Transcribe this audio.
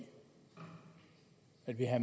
at